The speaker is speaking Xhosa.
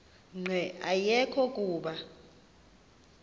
nqe ayekho kuba